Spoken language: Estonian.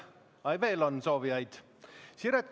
Ai, kas veel on soovijaid?